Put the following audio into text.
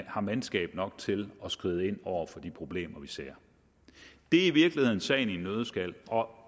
har mandskab nok til at skride ind over for de problemer vi ser det er i virkeligheden sagen i en nøddeskal og